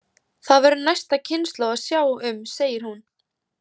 Það verður næsta kynslóð að sjá um, segir hún.